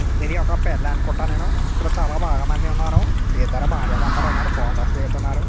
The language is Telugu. ఇది ఒక పెళ్లి అనుకుంట నేను ఇక్కడ చాలా బాగా మంది ఉన్నారు. ఇద్దరు భార్య భర్తలు ఉన్నారు ఫొటో స్ దిగుతున్నారు.